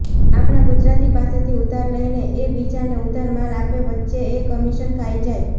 આપણા ગુજરાતી પાસેથી ઉધાર લઈને એ બીજાને ઉધાર માલ આપે વચ્ચે એ કમીશન ખાય જાય